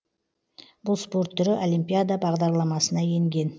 бұл спорт түрі олимпиада бағдарламасына енген